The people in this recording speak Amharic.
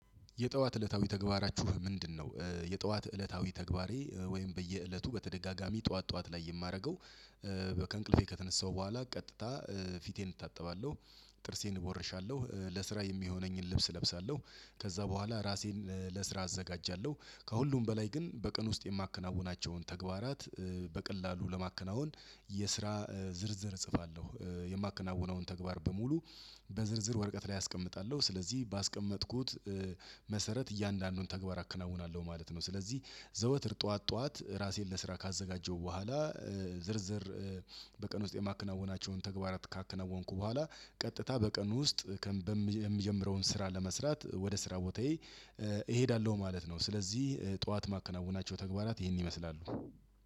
የጠዋት እለታዊ ተግባራችሁ ምንድነው? የጠዋት እለታዊ ተግባሬ ወይም በየእለቱ በተደጋጋሚ ጠዋት ጠዋት ላይ የማደርገው- ከእንቅልፌ ከተነሳሁ በኋላ ቀጥታ ፊቴን እታጠባለሁ። ጥርሴን እቦርሻለሁ። ለስራ የሚሆነኝን ልብስ እለብሳለሁ። ከዛ በኋላ ራሴን ለስራ አዘጋጃለሁ። ከሁሉም በላይ ግን በቀን ውስጥ የማከናውናቸውን ተግባራት- በቀላሉ ለማከናወን የስራ ዝርዝር እጽፋለሁ። የማከናውነውን ተግባር በሙሉ- በዝርዝር ወረቀት ላይ አስቀምጣለሁ። ስለዚህ ባስቀመጥኩት- መሰረት እያንዳንዱን ተግባር አከናውናለሁ ማለት ነው። ስለዚህ ዘወትር ጠዋት ጠዋት ራሴን ለስራ ካዘጋጀው በኋላ ዝርዝር- በቀን ውስጥ የማከናውናቸውን ተግባራት ካከናወንኩ በኋላ ቀጥታ በቀን ውስጥ የምጀምረውን ስራ ለመስራት ወደ ስራ ቦታዬ እሄዳለሁ ማለት ነው። ስለዚህ ጠዋት ማከናወናቸው ተግባራት ይህን ይመስላሉ።